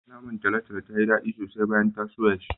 Naman talotalo tayi daɗi sosai bayan ta soya shi.